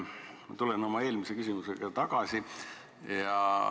Ma tulen oma eelmise küsimuse juurde tagasi.